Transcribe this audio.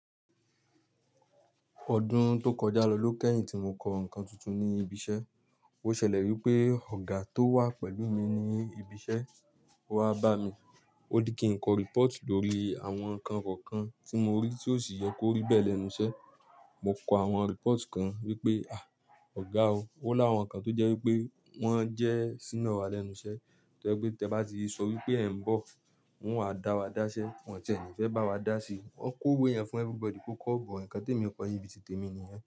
Ọdún tó kọjá lọ ló kẹ́yìn tí mo kọ nǹkan tuntun ní ibi iṣẹ́. Ó ṣẹlẹ̀ wípé ọ̀gá tó wà pẹ̀lú mi ní ibi iṣẹ́ wá bá mi. Óní kí n kọ report lórí àwọn nǹkan kọ̀ọ̀kan tí mo rí tí ó sì yẹ kó rí bẹ́ẹ̀ lẹ́nu iṣẹ́. Mo kọ àwọn report kan wípé "à! Ọ̀gá o, ó láwọn nǹkan tó jẹ́ wípé wọ́n jẹ́ senior wa lẹ́nu iṣẹ́. Tẹ́ pé tẹ bá ti sọ wípé ẹ̀ ń bọ̀, wọ́n á dá wa dáṣẹ́, wọ́n tẹ̀ní fẹ́ bá wa dá sí i. Wọ́n kó ìwé yẹn fún everybody kó kọ ọ̀bọ. Ìkán te mi kọ ni bí ti tèmi nìyẹn.